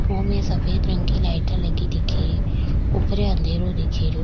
वोमे सफ़ेद रंग की लाइटा लगी दिखे री ऊपर अंधेरो दिखे रो।